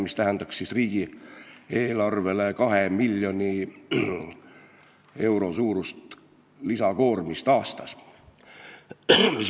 See tähendaks riigieelarvele 2 miljoni euro suurust lisakoormust aastas.